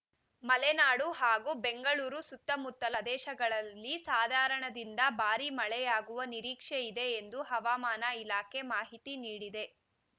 ಮಲೆನಾಡು ಹಾಗೂ ಬೆಂಗಳೂರು ಸುತ್ತಮುತ್ತಲ ಪ್ರದೇಶಗಳಲ್ಲಿ ಸಾಧಾರಣದಿಂದ ಭಾರೀ ಮಳೆಯಾಗುವ ನಿರೀಕ್ಷೆ ಇದೆ ಎಂದು ಹವಾಮಾನ ಇಲಾಖೆ ಮಾಹಿತಿ ನೀಡಿದೆ